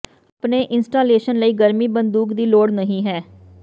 ਆਪਣੇ ਇੰਸਟਾਲੇਸ਼ਨ ਲਈ ਗਰਮੀ ਬੰਦੂਕ ਦੀ ਲੋੜ ਨਹੀ ਹੈ